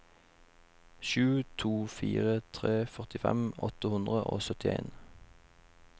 sju to fire tre førtifem åtte hundre og syttien